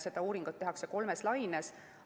Seda uuringut tehakse kolmes laines.